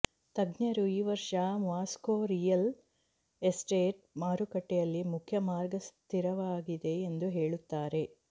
ತಜ್ಞರು ಈ ವರ್ಷದ ಮಾಸ್ಕೋ ರಿಯಲ್ ಎಸ್ಟೇಟ್ ಮಾರುಕಟ್ಟೆಯಲ್ಲಿ ಮುಖ್ಯ ಮಾರ್ಗ ಸ್ಥಿರವಾಗಿದೆ ಎಂದು ಹೇಳುತ್ತಾರೆ